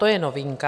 To je novinka.